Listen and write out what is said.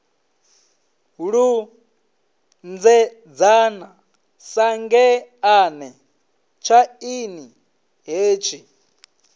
lunzhedzana sa ngeḓane tshaini hetshi